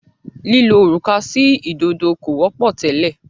lílo òrùka sí ìdodo kò wọ́pọ̀ tẹ́lẹ̀.